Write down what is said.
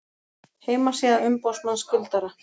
Heimasíða umboðsmanns skuldara